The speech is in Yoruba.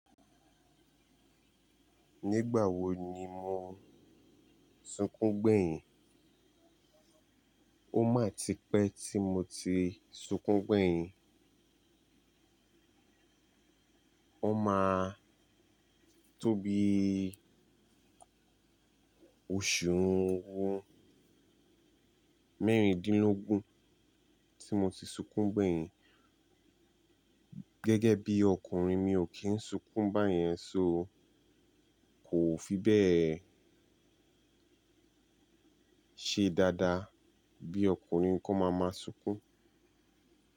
Nígbà wo ni mo sukún gbẹ̀yìn? Ó máa ti pẹ́ tí mo ti sukún gbẹ̀yìn. Ó máa tó bíi oṣù ni won mẹ́rìndínlógún tí mo ti sukún gbẹ̀yìn. Gẹ́gẹ́ bí ọkùnrin mi ò kí n sukún bá yẹn so kò fi bẹ́ẹ̀ ṣe dáadáa bí ọkùnrin kó máa máa sukún.